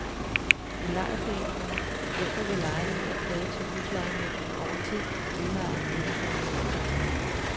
I lejerforeningerne hjælper vi lejerne med at klage til huslejenævnene over ting, udlejeren ikke bringer i orden.